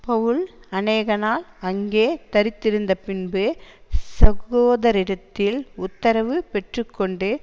பவுல் அநேகநாள் அங்கே தரித்திருந்தபின்பு சகோதரரிடத்தில் உத்தரவு பெற்று கொண்டு